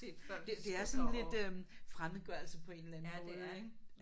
Det det det er sådan lidt øh fremmedgørelse på en eller anden måde ik